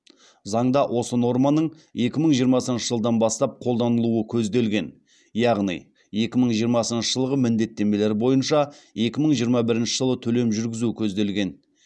заңда осы норманың екі мың жиырмасыншы жылдан бастап қолданылуы көзделген яғни екі мың жиырмасыншы жылғы міндеттемелер бойынша екі мың жиырма бірінші жылы төлем жүргізу көзделген